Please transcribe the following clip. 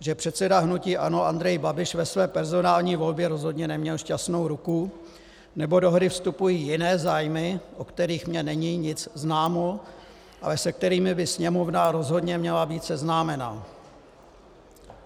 že předseda hnuti ANO Andrej Babiš ve své personální volbě rozhodně neměl šťastnou ruku, nebo do hry vstupují jiné zájmy, o kterých mně není nic známo, ale se kterými by Sněmovna rozhodně měla být seznámena.